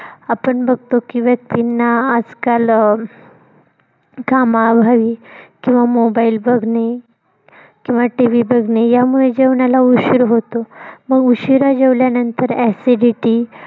आपण बघतो की व्यक्तिंना आजकाल अं कामावर घाई किंव्हा mobile बघणे किंव्हा TV बघणे यामुळे जेवणाला उशीर होतो. मग उशिरा जेवल्या नंतर acidity